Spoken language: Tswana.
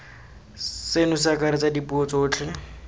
seno se akaretsa dipuo tsotlhe